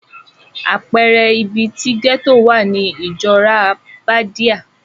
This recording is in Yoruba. Àpẹẹrẹ ibi ti gẹ́tò wà ni Ìjọ́rá Bádíà.